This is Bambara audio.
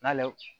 N'ale